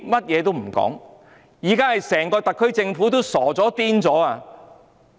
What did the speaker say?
現在整個特區政府都傻了、瘋了。